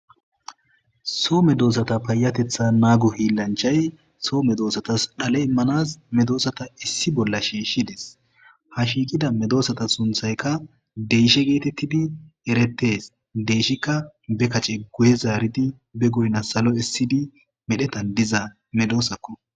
soome doossata payatetha naago hiillanchay soome doosatas dhale immanas medoosata issi bolla shiishshides ha shiiqida medoosata sunthayka deyshe geetettidi erettes deyshikka be kace guye zaaridi be goyna salo issidi medhetan diza medoosakko